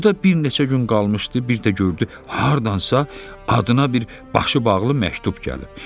Orda bir neçə gün qalmışdı, bir də gördü hardansa adına bir başı bağlı məktub gəlib.